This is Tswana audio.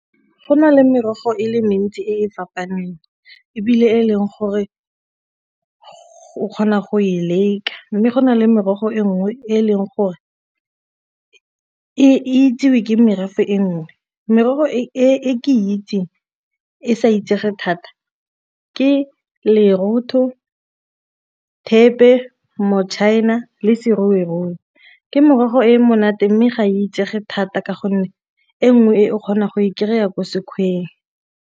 Go na le merogo e le mentsi e fapaneng ebile e leng gore go kgona go e leka, mme go na le merogo e nngwe e leng gore e itsewe ke merafe e nngwe. Merogo e ke itse e sa itsege thata ke lerotho, thepe, le ke morogo e monate mme ga a itsege thata ka gonne e nngwe e o kgonang go e kry-a ko sekgweng.